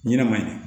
Ɲinɛ ma ɲin